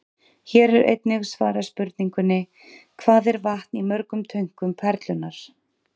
Hér er einnig svarað spurningunni: Hvað er vatn í mörgum tönkum Perlunnar?